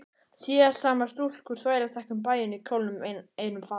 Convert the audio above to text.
Siðsamar stúlkur þvælast ekki um bæinn í kjólnum einum fata